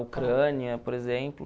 Ucrânia, por exemplo.